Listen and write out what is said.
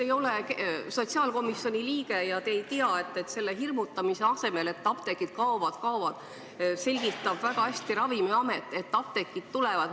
Te ei ole sotsiaalkomisjoni liige ja nii te ei tea, et hirmutamise asemel, et apteegid kohe kaovad, selgitab Ravimiamet väga hästi, et apteegid tulevad.